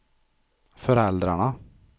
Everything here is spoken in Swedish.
föräldrarna